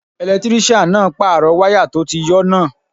Ẹlẹtírísíàn náà pàrọ̀ wáyà tó ti yọ́ náà